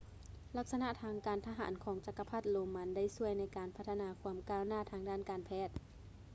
ລັກສະນະທາງການທະຫານຂອງຈັກກະພັດໂຣມັນໄດ້ຊ່ວຍໃນການພັດທະນາຄວາມກ້າວໜ້າດ້ານການແພດ